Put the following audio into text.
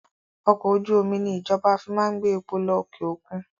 Ọkọ̀ ojú omi ni ìjọba fi máa ń gbé epo lọ òkè òkun